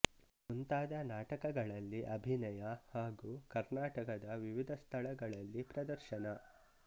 ಮುಂತಾದ ನಾಟಕಗಳಲ್ಲಿ ಅಭಿನಯ ಹಾಗೂ ಕರ್ನಾಟಕದ ವಿವಿಧ ಸ್ಥಳಗಳಲ್ಲಿ ಪ್ರದರ್ಶನ